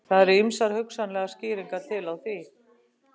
Það eru ýmsar hugsanlegar skýringar til á því.